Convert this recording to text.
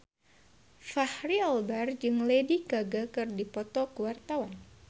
Fachri Albar jeung Lady Gaga keur dipoto ku wartawan